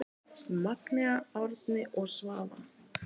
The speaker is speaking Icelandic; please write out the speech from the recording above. Magnea, Árni og Svava.